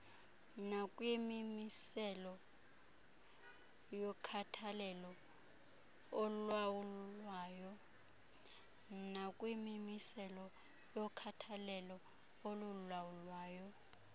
nakwimimiselo yokhathalelo olulawulwayo